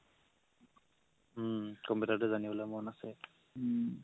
উম কম্পিউটাৰটো জনিবলে মন আছে